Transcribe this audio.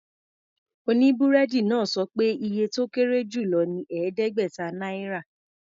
Oníbúrẹ́dì náà sọ pé iye tó kéré jù lọ ní ẹ̀ẹ́dẹ́gbẹ̀ta náírà.